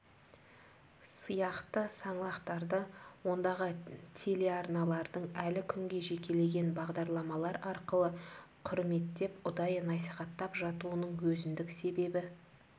сияқты саңлақтарды ондағы телеарналардың әлі күнге жекелеген бағдарламалар арқылы құрметтеп ұдайы насихаттап жатуының өзіндік себебі